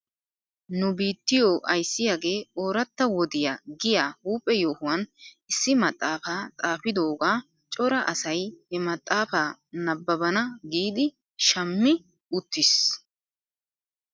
Nu biittiyoo ayssiyaagee ooratta wodiyaa giyaa huuphe yohuwan issi maxaafaa xaafidoogaa cora asay he maxaafaa nabbaban giidi shammi uttis .